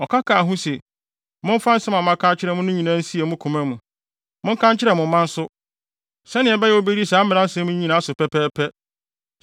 ɔka kaa ho se, “Momfa nsɛm a maka akyerɛ mo no nyinaa nsie mo koma mu. Monka nkyerɛ mo mma nso, sɛnea ɛbɛyɛ a wobedi saa mmara yi mu nsɛm nyinaa so pɛpɛɛpɛ.